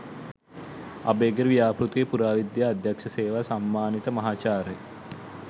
අභයගිරි ව්‍යාපෘතියේ පුරාවිද්‍යා අධ්‍යක්‍ෂ සේවා සම්මානිත මහාචාර්ය